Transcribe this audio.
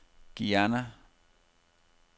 Guyana